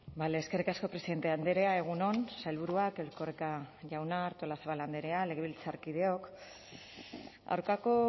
bale eskerrik asko presidente andrea egun on sailburuak erkoreka jauna artolazabal andrea legebiltzarkideok aurkako